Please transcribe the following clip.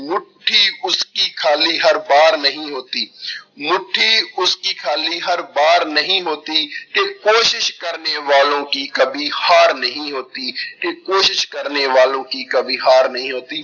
ਮੁੱਠੀ ਉਸਕੀ ਖਾਲੀ ਹਰ ਬਾਰ ਨਹੀਂ ਹੋਤੀ ਮੁੱਠੀ ਉਸਕੀ ਖਾਲੀ ਹਰ ਬਾਰ ਨਹੀਂ ਹੋਤੀ ਕਿ ਕੋਸ਼ਿਸ਼ ਕਰਨੇ ਵਾਲੋਂ ਕੀ ਕਬੀ ਹਾਰ ਨਹੀਂ ਹੋਤੀ, ਕਿ ਕੋਸ਼ਿਸ਼ ਕਰਨੇ ਵਾਲੋਂ ਕੀ ਕਬੀ ਹਾਰ ਨਹੀਂ ਹੋਤੀ,